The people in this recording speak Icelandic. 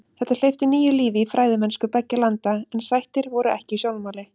Þetta hleypti nýju lífi í fræðimennsku beggja landa en sættir voru ekki í sjónmáli.